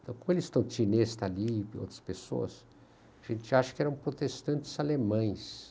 Então, como eles estão ali, outras pessoas, a gente acha que eram protestantes alemães.